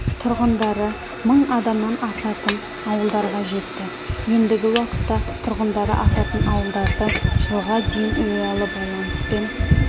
тұрғындары мың адамнан асатын ауылдарға жетті ендігі уақытта тұрғындары асатын ауылдарды жылға дейін ұялы байланыспен